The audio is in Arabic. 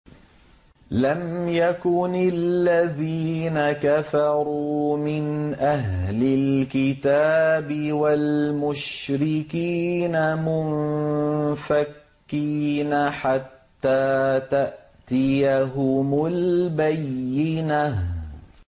لَمْ يَكُنِ الَّذِينَ كَفَرُوا مِنْ أَهْلِ الْكِتَابِ وَالْمُشْرِكِينَ مُنفَكِّينَ حَتَّىٰ تَأْتِيَهُمُ الْبَيِّنَةُ